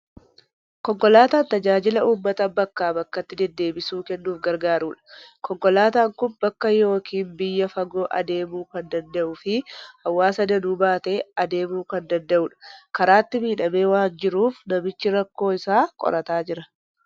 Konkolaataan tajaajila uummata bakkaa bakkatti deddeebisuu kennuuf gargaarudha. Konkolaataan kun bakka yookiin biyya fagoo adeemuu kan danda'uu fi hawaasa danuu baatee adeemuu kan danda'udha. Karaatti miidhamee waan jiruuf, namichi rakkoo isaa qorataa jira.